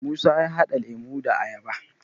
musa ya hada lemo da ayaba